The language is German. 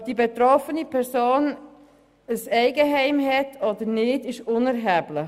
Ob die betroffene Person ein Eigenheim besitzt, ist unerheblich.